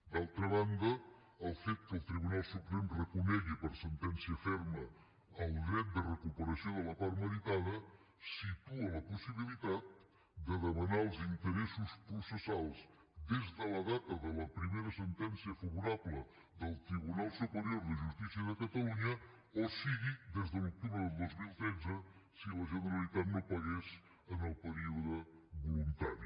d’altra banda el fet que el tribunal suprem reconegui per sentència ferma el dret de recuperació de la part meritada situa la possibilitat de demanar els interessos processals des de la data de la primera sentència favorable del tribunal superior de justícia de catalunya o sigui des de l’octubre del dos mil tretze si la generalitat no pagués en el període voluntari